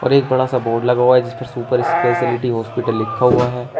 और एक बड़ा सा बोर्ड लगा हुआ है जिसपर सुपर स्पेशलिटी हॉस्पिटल लिखा हुआ है।